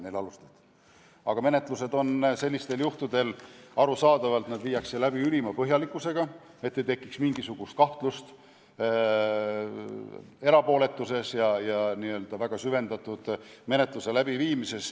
Sellistel juhtudel viiakse menetlused arusaadavalt läbi ülima põhjalikkusega, et ei tekiks mingisugust kahtlust erapooletuses ja n-ö väga süvendatud menetluse läbiviimises.